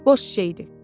Boş şey idi.